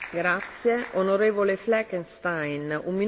Frau Präsidentin, liebe Kolleginnen und Kollegen!